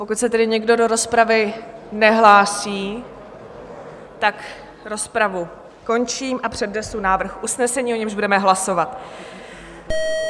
Pokud se tedy nikdo do rozpravy nehlásí, tak rozpravu končím a přednesu návrh usnesení, o němž budeme hlasovat: